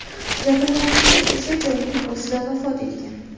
Jabrlanuvchi o‘sha joyning o‘zida vafot etgan.